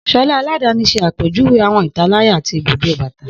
Shola aladani ṣe apejuwe awọn italaya ti ibudó bata.